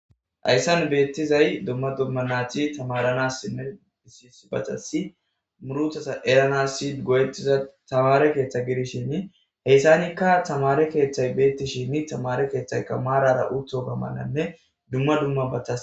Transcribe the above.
hayssan beettizay dumma dumma naati tamaranassinne disisbatassi muruthasa eranasi goyetiza tamare keeththa gidishinni heyssanikka tamare keeththay beettishinni tamare keeththayka maarara utho gamananne dumma dumma batta